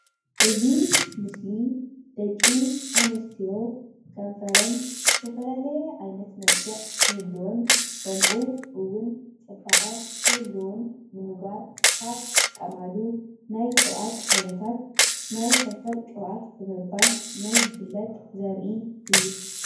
እዚ ምስሊ ደቂ ኣንስትዮ ከንፈረን ዝተፈላለየ ዓይነት መልክዕ ክህልዎን ከምኡውን ፅባቀ ክህልዎን ንምግባር ካብ ዝጥቀማሉ ናይ ቅብኣት ዓይነታት ናይ ከንፈር ቅብኣት ብምባል ናይ ዝፈለጥ ዘርኢ እዩ፡፡